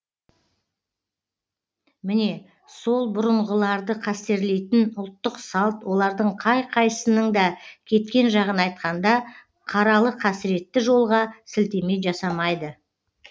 міне сол бұрынғыларды қастерлейтін ұлттық салт олардың қай қайсысының да кеткен жағын айтқанда қаралы қасіретті жолға сілтеме жасамайды